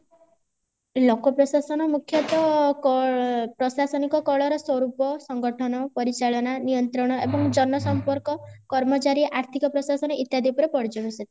ଲୋକପ୍ରଶାସନ ମୁଖ୍ୟତଃ କ ପ୍ରଶାସନିକ କଳ ର ସ୍ୱରୂପ ସଂଗଠନ ପରିଚାଳନା ନିୟନ୍ତ୍ରଣ ଏବଂ ଜନ ସମ୍ପର୍କ କର୍ମଚାରୀ ଏବଂ ଆର୍ଥିକ ପ୍ରଶାସନ ଇତ୍ୟାଦି ଉପରେ ପର୍ଯ୍ୟବେସିତ